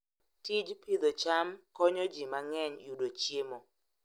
Tij pidho cham konyo ji mang'eny yudo chiemo.